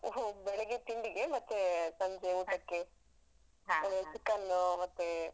ಹು ಬೆಳಿಗ್ಗೆ ತಿಂಡಿಗೆ ಮತ್ತೇ ಸಂಜೆ chicken ನ್ನು ಮತ್ತೇ.